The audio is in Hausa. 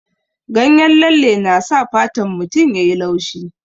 Ganyen lalle na sa fatan mutum ya yi laushi.